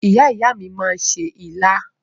Ìyá ìyá mi máa se ilá